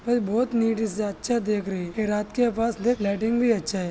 यह बहुत निटी से अच्छा देख रही ये रात के पास लाइटिंग भी अच्छा है।